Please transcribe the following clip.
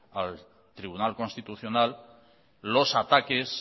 al tribunal constitucional los ataques